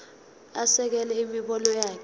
asekele imibono yakhe